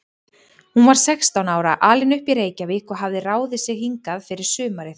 Hún var sextán ára, alin upp í Reykjavík og hafði ráðið sig hingað fyrir sumarið.